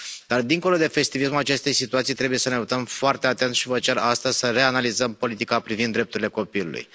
Dar dincolo de festivismul acestei situații trebuie să ne uităm foarte atent și vă cer astăzi să reanalizăm politica privind drepturile copilului.